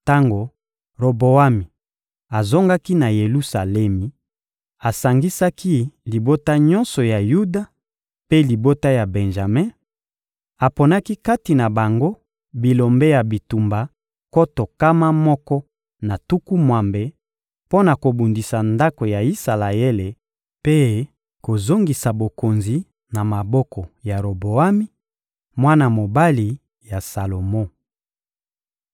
Tango Roboami azongaki na Yelusalemi, asangisaki libota nyonso ya Yuda mpe libota ya Benjame, aponaki kati na bango bilombe ya bitumba nkoto nkama moko na tuku mwambe mpo na kobundisa ndako ya Isalaele mpe kozongisa bokonzi na maboko ya Roboami, mwana mobali ya Salomo.